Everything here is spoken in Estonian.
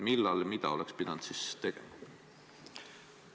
Millal ja mida oleks pidanud tegema?